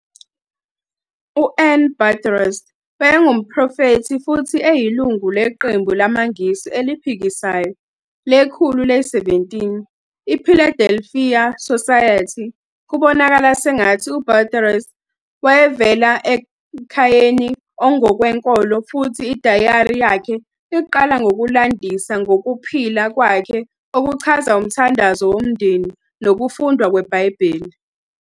U-Ann Bathurst wayengumprofethi futhi eyilungu leqembu lamaNgisi eliphikisayo lekhulu le-17, iPhiladelfiya Society. Kubonakala sengathi uBathurst wayevela emkhayeni ongokwenkolo, futhi idayari yakhe iqala ngokulandisa ngokuphila kwakhe okuchaza umthandazo womndeni nokufundwa kweBhayibheli.